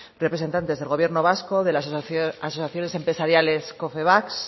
representantes del gobierno vasco de las asociaciones empresariales confebask